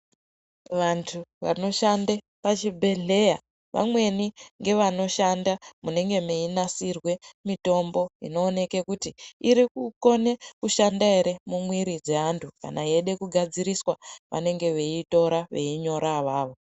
Vantu vanoshande pachibhehleya vamweni ndivo vanenge veishanda munonasirwa mitombo inonekwa kuti irikukone kushanda ere mumwiri dzeantu. Kana yeide kugadziriswa vanenge veitora veinyora avavo.